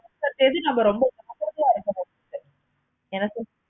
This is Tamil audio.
ரொம்ப ஜாக்கிரதையா முடியுது. எனக்கு